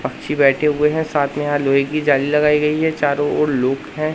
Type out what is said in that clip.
पक्षी बैठे हुए हैं साथ में यहां लोहे की जाली लगाई गई हैं चारों ओर लोग हैं।